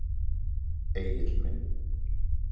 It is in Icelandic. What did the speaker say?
Egill minn.